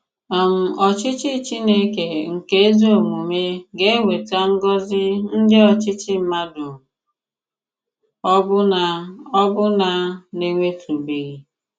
um Òchìchì Chìnékè nke ezi òmùmè ga-ewetà ngọ̀zì ndị òchìchì mmàdù ọ̀bụ̀la ọ̀bụ̀la na-enwètụ̀bèghị.